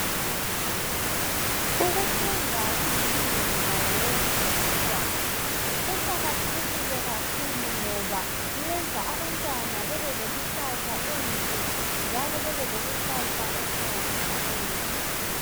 Ukufunda kulilungelo lawo wonke umntwana. Kuqakathekile kakhulu ngoba kuyenza abantwana bebe lekusasa enhle njalo Bebe lekusasa eqhakazekileyo.